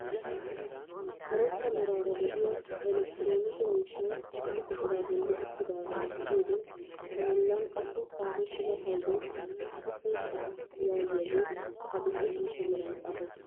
Karetta meraara de'iyaa elekiteroonike miishshay issi buquraa bolli uttidaagaa be'iyoode a bollan qassi xaafettida paydoy usuppun sha'aa yaagiyaagee adil'e ciishsha meran xafettiis.